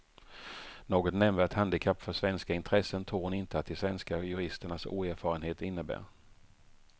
Något nämnvärt handikapp för svenska intressen tror hon inte att de svenska juristernas oerfarenhet innebär.